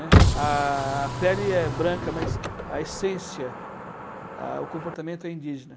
né. A a pele é branca, mas a essência, a o comportamento é indígena.